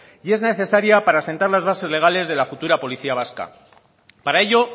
y es necesaria para asentar las bases legales de la futura policía vasca para ello